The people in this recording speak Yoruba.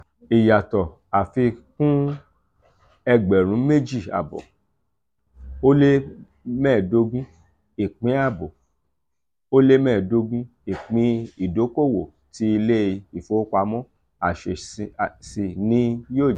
iyato afikun egberun meji aabo olemedogun ipin aabo olemedogun ipin idokowo ti ile ifowopamo asesi ni yoo je.